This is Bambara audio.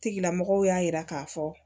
Tigilamɔgɔw y'a yira k'a fɔ